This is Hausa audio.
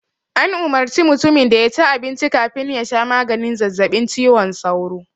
An umarci mutimin da ya ci abinci man ya sha maganin zazzabin cizon sauron